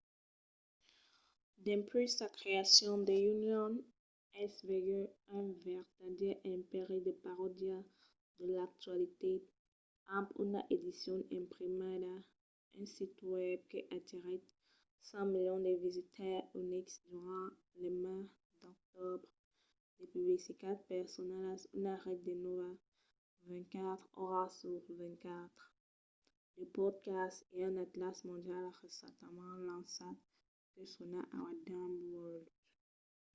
dempuèi sa creacion the onion es vengut un vertadièr empèri de parodia de l'actualitat amb una edicion imprimida un sit web que atirèt 5 000 000 de visitaires unics durant lo mes d'octobre de publicitats personalas una ret de nòvas 24 oras sus 24 de podcasts e un atlàs mondial recentament lançat que se sona our dumb world